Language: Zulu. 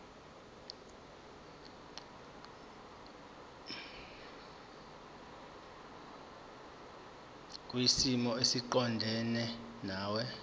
kwisimo esiqondena nawe